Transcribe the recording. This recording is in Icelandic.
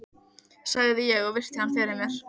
sagði ég og virti hann fyrir mér.